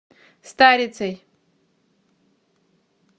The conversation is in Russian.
старицей